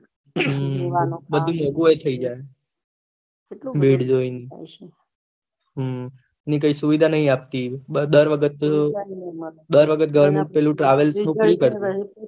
હમ બધી મોન્ગું ભી થઇ જાય ભીડ જોઇને હમ અને કોઈ સુવિધા નહી આપતી દર દર વખત goverment પેલું ટ્રાવેલ્સનું